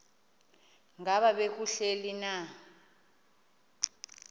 ngaba kubleni na